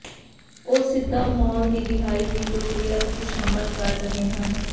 ਉਹ ਸਿੱਧੇ ਮਾਲ ਦੀ ਰਿਹਾਈ ਦੀ ਪ੍ਰਕਿਰਿਆ ਵਿਚ ਸ਼ਾਮਲ ਕਰ ਰਹੇ ਹਨ